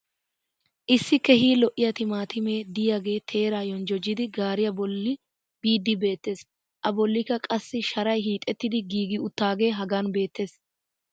issi keehi lo'iya timaattimee diyaagee teeraa yonjjojjidi gaariya boli biidi beetees. a bolikka qassi sharay hiixettidi giigi uttaagee hagan beetees.